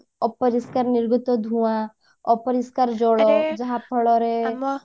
ଅପରିଷ୍କାର ନିର୍ଗତ ଧୂଆଁ ଅପରିଷ୍କାର ଜଳ ଫଳରେ